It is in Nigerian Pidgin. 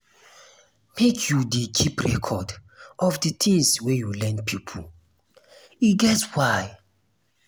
make you dey keep record of di tins wey you lend pipo e get why.